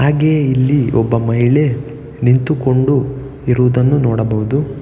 ಹಾಗೆ ಇಲ್ಲಿ ಒಬ್ಬ ಮಹಿಳೆ ನಿಂತುಕೊಂಡಿರುವುದನ್ನ ನೋಡಬಹುದು.